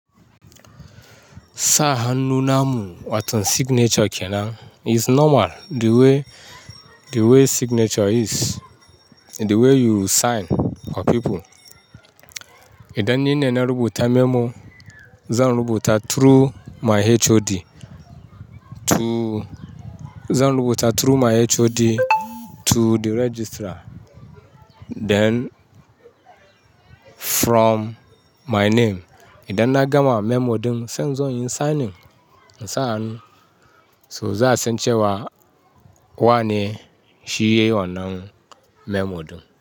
Sa hannu namu wato signature kenan is normal the way, the way signature is, the way you sign for people. Idan nine na rubuta memo, zan rubuta through my HOD to, zan rubuta through my HOD to the registrar then from my name. Idan na gama memo din sai in zo yin signing, in sa hannu. So za a san cewa wane shi ya yi wannan memo din.